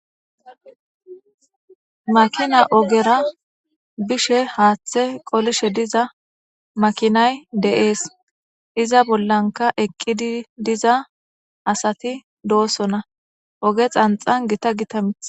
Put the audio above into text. makina ogera bishe haaththe qolishe diza makinay deees iza bollanka eqqidi diza asati doosona oge xanxan gita gitamith